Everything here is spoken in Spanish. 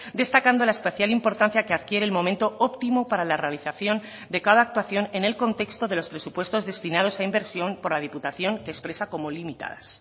destacando la especial importancia que adquiere el momento óptimo para la realización de cada actuación en el contexto de los presupuestos destinados a inversión por la diputación que expresa como limitadas